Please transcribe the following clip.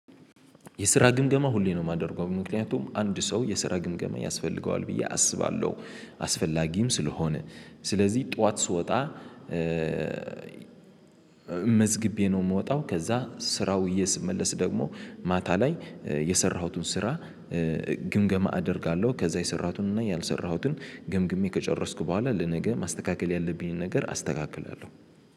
የስራ ግምገማ ሁሌ ነው የማደርገው ምክንያቱም አንድ ሰው የስራ ግምገማ ያስፈልገዋል ብዬ አስባለሁ አስፈላጊም ስለሆነ። ስለዚህ ጠዋት ስወጣ መዝግቤ ነው ምወጣው። ከዛ ስራ ውየ ስመለስ ደግሞ ማታ ላይ የሰራሁትን ስራ ግምገማ አደርጋለሁ ከዛ የሰራሁትን እና ያልሰራሁትን ገምግሜ ከጨረስኩ በኋላ ለነገ ማስተካከል ያለብኝን ነገር አስተካክላለሁ